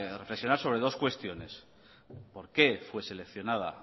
reflexionar sobre dos cuestiones por qué fue seleccionada